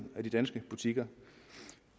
af de danske butikker